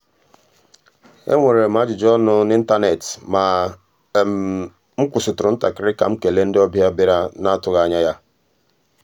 enwere m ajụjụ ọnụ n’ịntanetị ma m kwụsịrị ntakịrị ka m kele ndị ọbịa bịara na-atụghị anya ya.